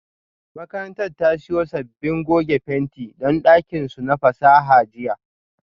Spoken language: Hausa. Makarantar ta siyo sabbin goge fenti don dakin su na fasaha jiya